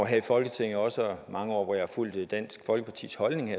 her i folketinget og mange år hvor jeg har fulgt dansk folkepartis holdning